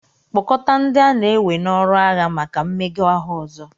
kpọkọta ndị a na-ewe n'ọrụ agha maka mmega ahụ ọzọ